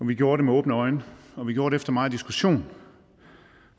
vi gjorde det med åbne øjne og vi gjorde det efter megen diskussion